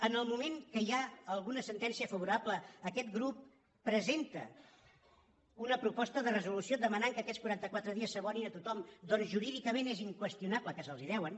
en el moment que hi ha alguna sentència favorable aquest grup presenta una proposta de resolució demanant que aquests quaranta·quatre dies s’abonin a tothom per·què jurídicament és inqüestionable que se’ls deuen